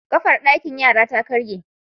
Kafar dakin yara ta karye